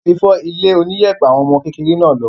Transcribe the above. Omi ti fọ ilé oníyẹ̀pẹ̀ àwọn ọmọ kékeré náà lọ.